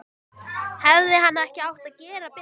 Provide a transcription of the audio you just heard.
Hefði hann ekki átt að gera betur?